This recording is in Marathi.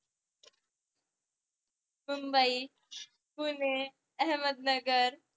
मुंबई, पुणे, अहमदनगर